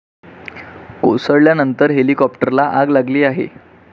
कोसळल्यानंतर हेलिकॉप्टरला आग लागली आहे.